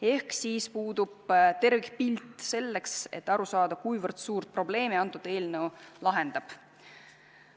Ehk puudub tervikpilt, et aru saada, kui suurt probleemi eelnõu lahendab.